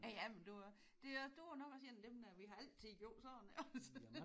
Ja ja men du er jo også det er du er nok også en af dem der vi har altid gjort sådan iggås?